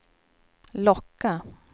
locka